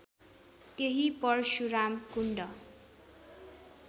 त्यही परशुराम कुण्ड